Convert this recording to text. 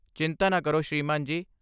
ਚਿੰਤਾ ਨਾ ਕਰੋ, ਸ੍ਰੀਮਾਨ ਜੀ।